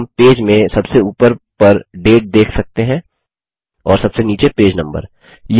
तो हम पेज में सबसे ऊपर पर डेट देख सकते हैं और सबसे नीचे पेज नम्बर